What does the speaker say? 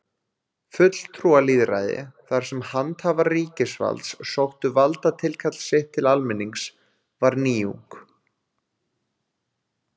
Fulltrúalýðræði, þar sem handhafar ríkisvalds sóttu valdatilkall sitt til almennings, var nýjung.